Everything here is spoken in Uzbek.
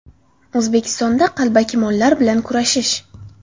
O‘zbekistonda qalbaki mollar bilan kurashish!.